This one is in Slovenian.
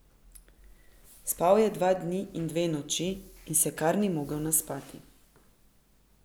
Spal je dva dni in dve noči in se kar ni mogel naspati.